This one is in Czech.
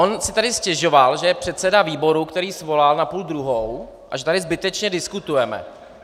On si tady stěžoval, že je předseda výboru, který svolal na půl druhou, a že tady zbytečně diskutujeme.